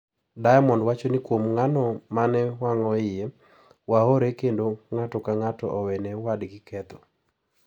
Diamond wacho ni kuom ng`ano ma ne wawang`o iye, wahore kendo ng`ato ka ng`ato owene wadgi ketho.